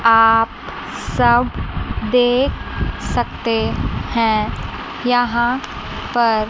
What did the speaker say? आप सब देख सकते हैं यहां पर--